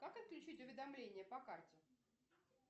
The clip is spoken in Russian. как отключить уведомления по карте